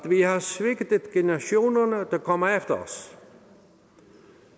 vi har svigtet generationerne der kommer efter os